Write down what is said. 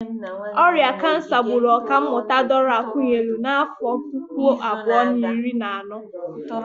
Ọrịa kansa gburu Ọkammụta Dora Akunyili n'afọ puku abụọ na iri na anọ.